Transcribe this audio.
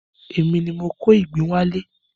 Èmi ni mo kó ìgbín wá lé.